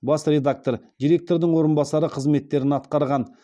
бас редактор директордың орынбасары қызметтерін атқарған